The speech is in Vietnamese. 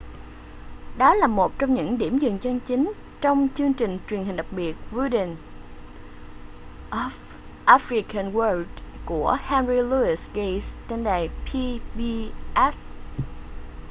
đó là một trong những điểm dừng chân chính trong chương trình truyền hình đặc biệt wonders of the african world của henry louis gates trên đài pbs